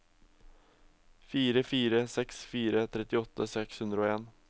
fire fire seks fire trettiåtte seks hundre og en